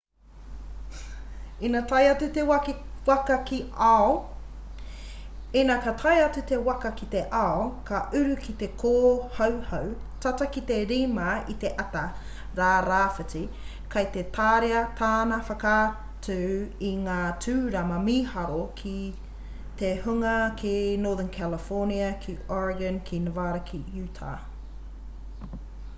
ina tae atu te waka ki te ao ka uru ki te kōhauhau tata ki te 5 i te ata rā rāwhiti kei te tāria tāna whakaatu i ngā tūrama mīharo ki te hunga ki northern california ki oregon ki nevada ki utah